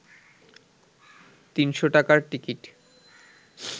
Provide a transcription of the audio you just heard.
৩০০ টাকার টিকিট